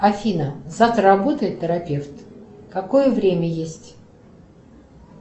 афина завтра работает терапевт какое время есть